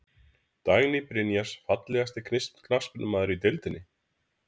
Dagný Brynjars Fallegasti knattspyrnumaðurinn í deildinni?